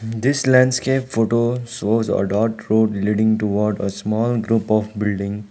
this landscape photo shows a dirt road leading to what a small group of building.